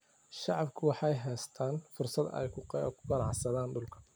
Shacabku waxay haystaan ??fursad ay ku ganacsadaan dhulka.